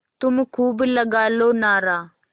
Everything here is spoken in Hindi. तुम खूब लगा लो नारा